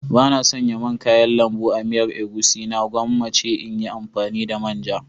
Bana sanya man kayan lambu a miyar egusi na gwammace in yi amfani da manja.